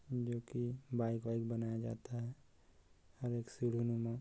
जो की बाइक वाईक बनाया जाता है और एक सीढ़ी नुमा--